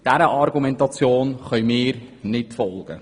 Dieser Argumentation können wir nicht folgen.